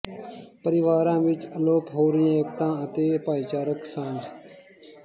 ਪਰਿਵਾਰਾਂ ਵਿਚ ਅਲੋਪ ਹੋ ਰਹੀ ਏਕਤਾ ਅਤੇ ਭਾਈਚਾਰਕ ਸਾਂਝ